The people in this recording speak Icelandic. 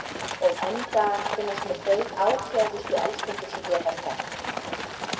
Og enn í dag finnast mér þau áfjáðustu elskendur sem ég hef þekkt.